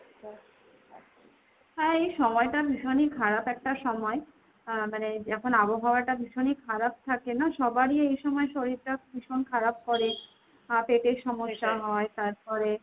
হ্যাঁ এই সময়টা ভীষণই খারাপ একটা সময়। আহ মানে যখন আবহাওয়াটা ভীষণই খারাপ থাকে না সবারই এই সময় শরীরটা ভীষণ খারাপ করে। পেটের সমস্যা হয়, তারপরে